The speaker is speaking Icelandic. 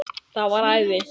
Það var æði.